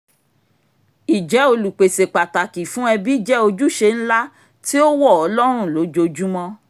ìjẹ́ olùpèsè pàtàkì fún ẹ̀bí jẹ́ òjúṣe ńlá tí ó wọ̀ ọ́ lọ́rùn lójoojúmọ́